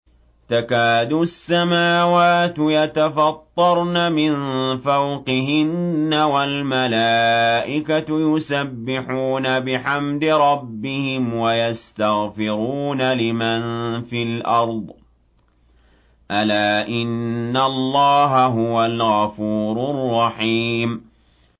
تَكَادُ السَّمَاوَاتُ يَتَفَطَّرْنَ مِن فَوْقِهِنَّ ۚ وَالْمَلَائِكَةُ يُسَبِّحُونَ بِحَمْدِ رَبِّهِمْ وَيَسْتَغْفِرُونَ لِمَن فِي الْأَرْضِ ۗ أَلَا إِنَّ اللَّهَ هُوَ الْغَفُورُ الرَّحِيمُ